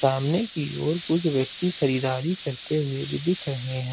सामने की और कुछ व्यक्ति खरीदारी करते हुए भी दिख रहे हैं।